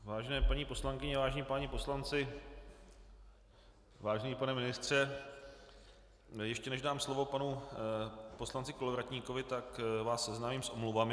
Vážené paní poslankyně, vážení páni poslanci, vážený pane ministře, ještě než dám slovo panu poslanci Kolovratníkovi, tak vás seznámím s omluvami.